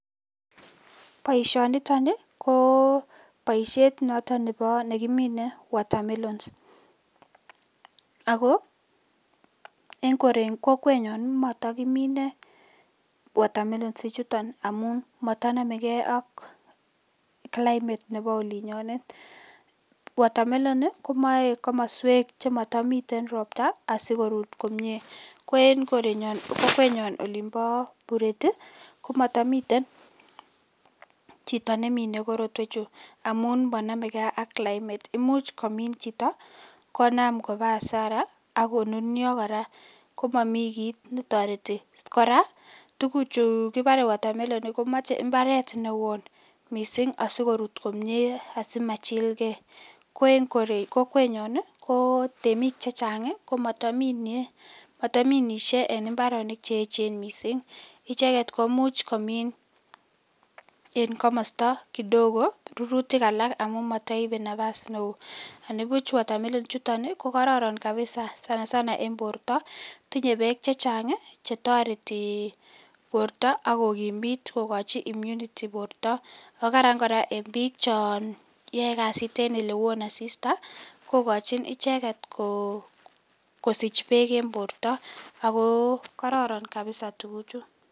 Boisioniton ii koo boishet noto bebo nekimine watermelon, ako en kokwenyon komotokimine watermelon ichuton ii amun motonomekee ak climate nebo olinyonet, watermelon komoe komoswek chemotomiten ropta asikorut komie, ko en kokwenyon olimbo Bureti komotomiten chito nemine korotwechu, amun monomekee ak climate imuch komin chitio konam kobaa hasara akonunio koraa komomi kii netoreti, koraa tuguchu kibore watermelon komoche imbaret newon missing' asikorut komie asimanyilgee , ko en kokwenyon ii ko temik chechang ii ko motominishe en imbaronik cheechen missing' icheket komuch komin en komosto kidogo rurutik alak amun motoibe napas newo, anibuch [cs[watermelon ichuton ii kokoron kabisa sana sana borto tinye beek chechang chetoreti borto ak kokimit kokochi imunity borto oo karan koraa en bik chon yoe kasit en elewon asista kokochin icheket kosich beek en borto ako kororon kabisa tuguchu.